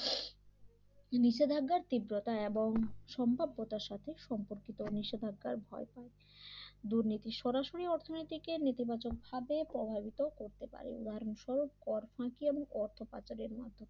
নিষেধাজ্ঞার তীব্রতা এবং সম্ভাব্যতার সাথে সম্পর্কিত নিষেধাজ্ঞার ভয় দুর্নীতি সরাসরি অর্থনীতিকে নীতিবাচক ভাবে প্রভাবিত করতে পারে উদাহরণ স্বরূপ কর ফাঁকি এবং অর্থ পাচারের মাধ্যম